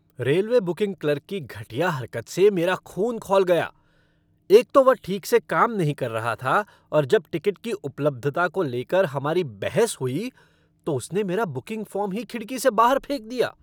Railway booking clerk की घटिया हरकत से मेरा खून खौल गया, एक तो वह ठीक से काम नहीं कर रहा था और जब टिकट की उपलब्धता को लेकर हमारी बहस हुई, तो उसने मेरा बुकिंग फ़ॉर्म ही खिड़की से बाहर फेंक दिया।